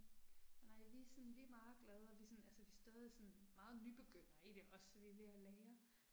Nej vi er sådan vi er meget glade og vi sådan altså vi stadig sådan meget nybegynder i det også så vi er ved at lære